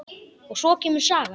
Og svo kemur saga: